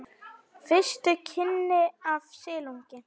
Fyrstu kynni af silungi